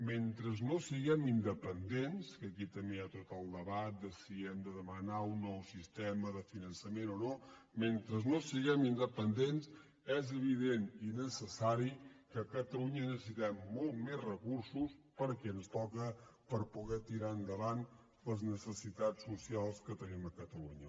mentre no siguem independents que aquí també hi ha tot el de·bat de si hem de demanar un nou sistema de finança·ment o no mentre no siguem independents és evi·dent i necessari que a catalunya necessitem molts més recursos perquè ens toca per poder tirar endavant les necessitats socials que tenim a catalunya